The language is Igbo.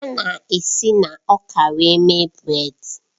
A na-esi na ọka wit mee brèd.